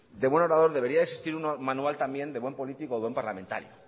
de buen orador debería existir un manual también de buen político o buen parlamentario